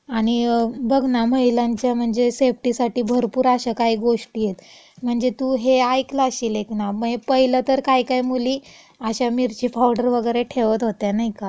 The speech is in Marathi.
- आणि बघ ना, महिलांच्या म्हणजे सेफ्टीसाठी भरपूर अशा काही गोष्टीयेत म्हणजे तू हे आयक्लं अश्शील एक ना, मै पहिलं तर काही काही मुली अशा मिर्ची पावडर वगैरे ठेवत होत्या, नाई का? कॉलेजला वगैरे.